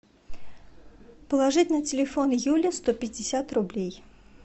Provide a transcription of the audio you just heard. положить на телефон юли сто пятьдесят рублей